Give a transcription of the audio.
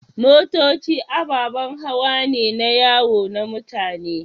Motoci ababen hawa ne na yawo na mutane.